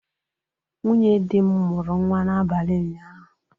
Nwunye dị m mụrụ nwa n'abalị ụnyaahụ.